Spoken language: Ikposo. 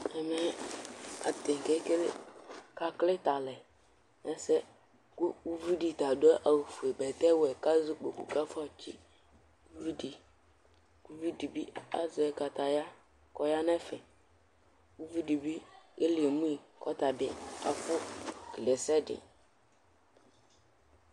Ɛmɛ, atani kele, aka klitɛ alɛ nu ɛsɛ Ku uʋiɖi ta aɖu awu fue, bɛtɛ wɛ, ku azɛ ukpoku, ku afɔ tsi uʋiɖi Ku uʋiɖi bi azɛ kataya, ku ɔya nu ɛfɛ Uʋiɖi bi, ɛli emu yi, ku ɔtabi afɔ kele ɛsɛɖi